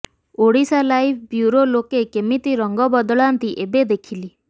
Odisha live bureau ଲୋକେ କେମିତି ରଙ୍ଗ ବଦଳାନ୍ତି ଏବେ ଦେଖିଲି